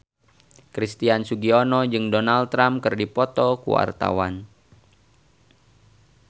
Christian Sugiono jeung Donald Trump keur dipoto ku wartawan